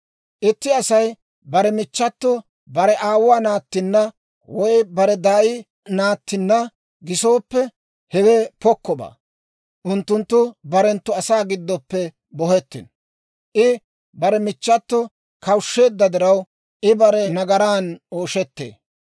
« ‹Itti Asay bare michchato bare aawuwaa naattinna woy bare daay naattinna gisooppe, hewe pokkobaa. Unttunttu barenttu asaa gidoppe bohettino. I bare michchato kawushsheedda diraw, I bare nagaran ooshettee.